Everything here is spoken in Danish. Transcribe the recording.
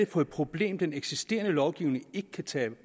for et problem den eksisterende lovgivning ikke kan tage